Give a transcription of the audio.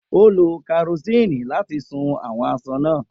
O lo kerosene lati sun awọn aṣọ naa.